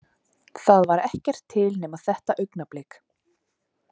Það var ekkert til nema þetta augnablik.